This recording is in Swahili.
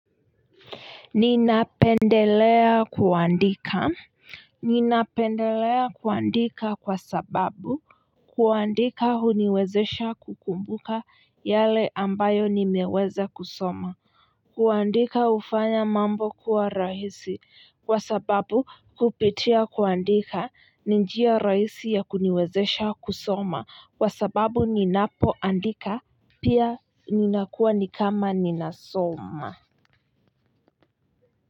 Ninapendelea kuandika, ninapendelea kuandika kwa sababu kuandika huniwezesha kukumbuka yale ambayo nimeweza kusoma kuandika hufanya mambo kuwa rahisi, kwa sababu, kupitia kuandika ni njia rahisi ya kuniwezesha kusoma kwa sababu ninapoandika pia ninakuwa ni kama ninasoma.